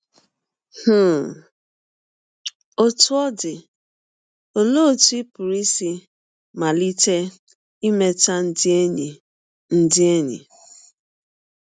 um Ọtụ ọ dị, ọlee ọtụ ị pụrụ isi malite imeta ndị enyi ndị enyi?